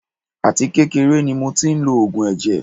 Àti kékeré ni mo tí ń lo oògùn ẹ̀jẹ̀.